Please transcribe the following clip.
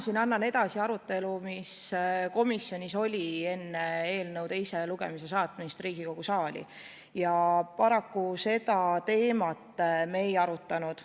Mina annan edasi arutelu, mis oli komisjonis enne seda, kui eelnõu Riigikogu saali teisele lugemisele saadeti, ja paraku seda teemat me ei arutanud.